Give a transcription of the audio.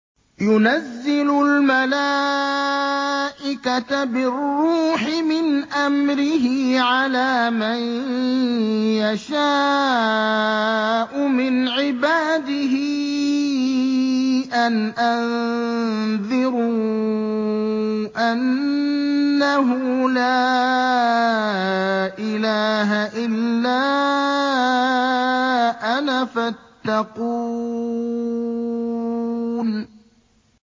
يُنَزِّلُ الْمَلَائِكَةَ بِالرُّوحِ مِنْ أَمْرِهِ عَلَىٰ مَن يَشَاءُ مِنْ عِبَادِهِ أَنْ أَنذِرُوا أَنَّهُ لَا إِلَٰهَ إِلَّا أَنَا فَاتَّقُونِ